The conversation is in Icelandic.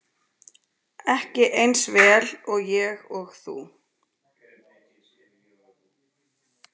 Ekki eins vel og ég og þú.